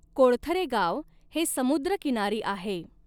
कोळथरे गाव हे समुद्रकिनारी आहे.